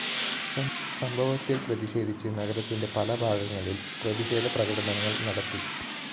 സംഭവത്തില്‍ പ്രതിഷേധിച്ച്‌ നഗരത്തിന്റെ പല ഭാഗങ്ങളില്‍ പ്രതിഷേധപ്രകടനങ്ങള്‍ നടത്തി